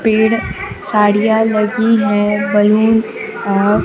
पेड़ साड़ियां लगी है बैलून और--